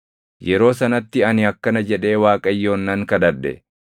Yeroo sanatti ani akkana jedhee Waaqayyoon nan kadhadhe;